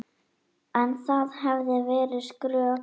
En það hefði verið skrök.